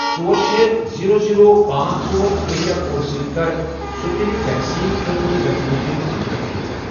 ژور، شے، زیٖرو، زیٖرو، پانژھ، ژور، ایریا کوڈٕ سۭتۍ کر سٕپُٹنِک ویکسیٖن خٲطرٕ ویکسِنیشن سینٹر فلٹر۔